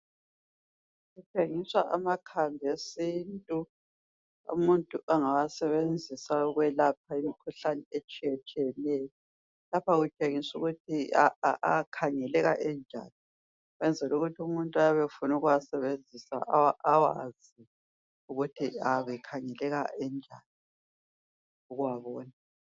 Kutshengiswa amakhambi esintu umuntu angawasebenzisa ukwelapha imkhuhlane etshiyetshiyeneyo. Lapha kutshengiswa ukuthi akhangeleka enjani ukwenzel' ukuthi umuntu oyab' efuna ukuwasebenzisa awazi ukuthi ayabe akhangeleka enjani ukuwabona.